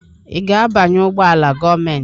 Ị ga-abanye ụgbọ ala gọọmentị?